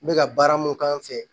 N bɛ ka baara mun k'an fɛ